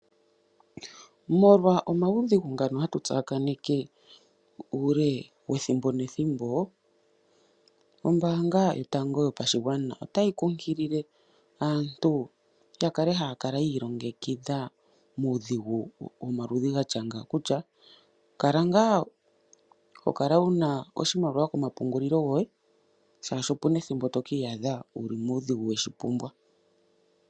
Molwa omaudhigu ngano hatu tsa kaneke uule wethimbo nethimbo, ombaanga yotango yopashigwana otayi kunkilile aantu ya kale haya kala ya ilongekidha muudhigu womaludhi gatya nga kutya kala ngaa hokala wuna oshimaliwa komapungulilo goye, shaashi opuna ethimbo to kiiyadha wu li muudhigu weshi pumbwa.